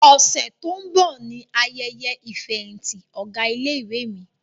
Ọ̀sẹ̀ tó ń bọ̀ ni ayẹyẹ ìfẹ̀yìntì ọ̀gá ilé-ìwé mi.